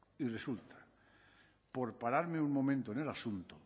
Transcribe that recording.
y resulta por pararme un momento en el asunto